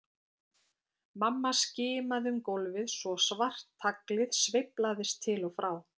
Mamma skimaði um gólfið svo svart taglið sveiflaðist til og frá.